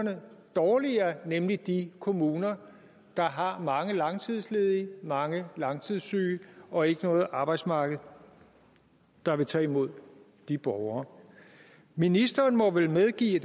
dårligere nemlig de kommuner der har mange langtidsledige mange langtidssyge og ikke noget arbejdsmarked der vil tage imod de borgere ministeren må vel medgive